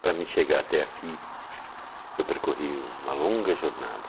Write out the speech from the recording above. Para me chegar até aqui, eu percorri uma longa jornada.